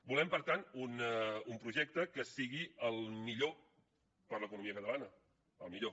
volem per tant un projecte que sigui el millor per a l’economia catalana el millor